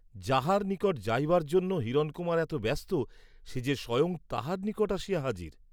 যাহার নিকট যাইবার জন্য হিরণকুমার এত ব্যস্ত সে যে স্বয়ং তাহার নিকট আসিয়া হাজির!